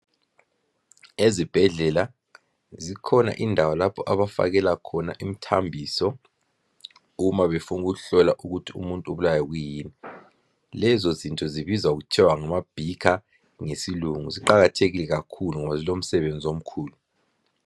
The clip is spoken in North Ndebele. Ezibhedlela zikhona indawo lapho abafakela khona imthambiso uma befuna ukuhlola ukuthi umuntu ubulawa kwiyini. Lezo zinto zibizwa kuthiwa ngama bhikha ngesilungu, ziqakathekile kakhulu ngoba zilo msebenzi omkhulu.